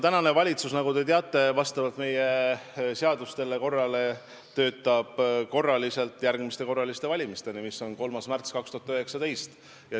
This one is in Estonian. Praegune valitsus, nagu te teate, töötab vastavalt meie seadustele ja korrale järgmiste korraliste valimisteni, mis on 3. märtsil 2019.